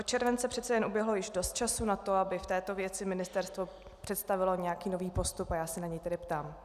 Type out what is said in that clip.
Od července přece jen uběhlo již dost času na to, aby v této věci ministerstvo představilo nějaký nový postup, a já se na něj tedy ptám.